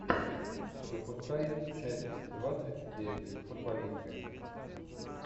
запускай часть двадцать девять футболисты